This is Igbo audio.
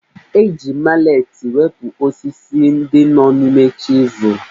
E ji maletị wepụ osisi ndị nọ n'ime chisel